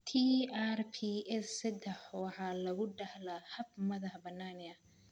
TRPS seddax waxa lagu dhaxlaa hab madax-bannaani ah.